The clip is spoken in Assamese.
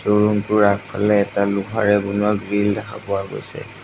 এই ৰুম টোৰ আগফালে এটা লোহাৰে বনোৱা গ্ৰীল দেখা পোৱা গৈছে।